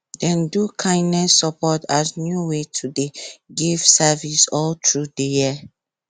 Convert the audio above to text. dem do kindness support as new way to dey give service all through di year